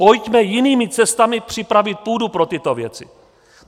Pojďme jinými cestami připravit půdu pro tyto věci.